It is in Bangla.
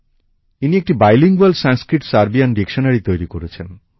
ইনি সংস্কৃতসার্বিয় দুটি ভাষায় একটি অভিধান তৈরি করেছেন